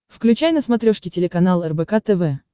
включай на смотрешке телеканал рбк тв